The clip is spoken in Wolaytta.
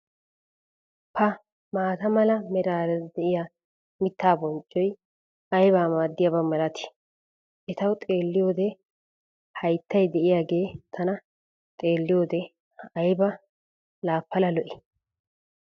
pa maata mala meraara diya mitaa bonccoy aybba maadiyaaba malatii? etawu xeeliyoode hayttay diyaagee tana xerliyoode ayba laa pala lo'ii?